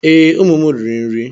Ee, ụmụ m riri nri.